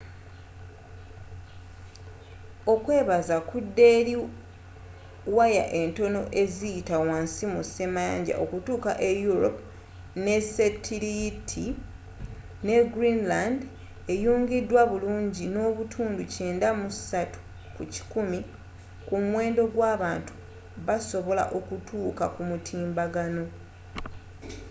okwebaza kudda eri waya entono eziyita wansi mu semayanja okutuuka e europe n'esetiliyiti ne greenland eyungidwa bulungi ne 93% kumuwendo gw'abantu basobola okutuuka kumutimbagano